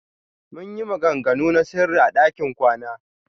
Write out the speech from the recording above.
Muyi maganganu na sirri a ɗakin kwana.